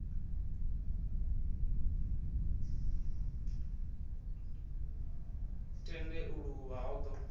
tende u luvha ho ḓo